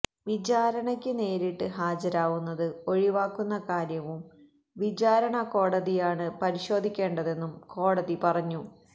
വിചാരണയ്ക്ക് നേരിട്ട് ഹാജരാവുന്നത് ഒഴിവാക്കുന്ന കാര്യവും വിചാരണക്കോടതിയാണ് പരിശോധിക്കേണ്ടതെന്നും കോടതി പറഞ്ഞു